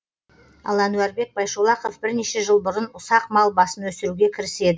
ал әнуарбек байшолақов бірнеше жыл бұрын ұсақ мал басын өсіруге кіріседі